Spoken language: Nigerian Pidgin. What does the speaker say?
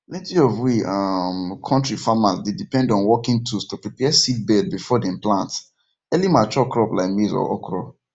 plenty of we um kontir farmers dey depend on working tools to prepare seedbed before dem plant early mature crop like maize or okra